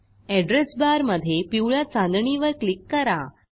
address बारमधे पिवळ्या चांदणीवर क्लिक करा